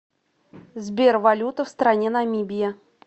сбер валюта в стране намибия